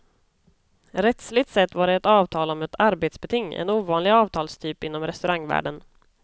Rättsligt sett var det ett avtal om ett arbetsbeting, en ovanlig avtalstyp inom restaurangvärlden.